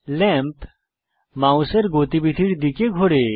lamp মাউসের গতিবিধির দিকে ঘোরে